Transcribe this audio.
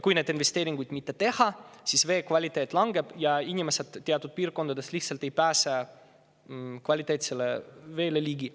Kui neid investeeringuid mitte teha, siis vee kvaliteet langeb ja teatud piirkondades inimesed lihtsalt ei pääse kvaliteetsele veele ligi.